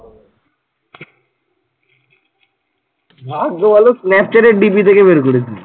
ভাগ্য ভালো snapchat DP থেকে বের করিসনি।